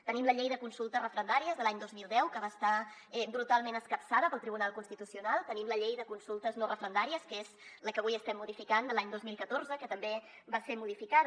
tenim la llei de consultes referendàries de l’any dos mil deu que va estar brutalment escapçada pel tribunal constitucional tenim la llei de consultes no referendàries que és la que avui estem modificant de l’any dos mil catorze que també va ser modificada